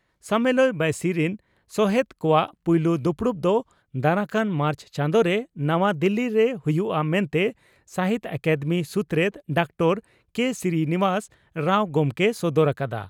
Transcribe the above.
ᱥᱟᱢᱮᱞᱟᱭ ᱵᱟᱹᱭᱥᱤ ᱨᱤᱱ ᱥᱚᱦᱮᱛ ᱠᱚᱣᱟᱜ ᱯᱩᱭᱞᱩ ᱫᱩᱯᱲᱩᱵ ᱫᱚ ᱫᱟᱨᱟᱠᱟᱱ ᱢᱟᱨᱪ ᱪᱟᱸᱫᱚ ᱨᱮ ᱱᱟᱣᱟ ᱫᱤᱞᱤ ᱨᱮ ᱦᱩᱭᱩᱜᱼᱟ ᱢᱮᱱᱛᱮ ᱥᱟᱦᱤᱛᱭᱚ ᱟᱠᱟᱫᱮᱢᱤ ᱥᱩᱛᱨᱮᱛ ᱰᱚᱠᱛᱟᱨ ᱠᱮᱹ ᱥᱨᱤᱱᱤᱵᱟᱥ ᱨᱟᱣ ᱜᱚᱢᱠᱮᱭ ᱥᱚᱫᱚᱨ ᱟᱠᱟᱫᱼᱟ ᱾